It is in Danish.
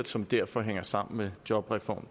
som derfor hænger sammen med jobreform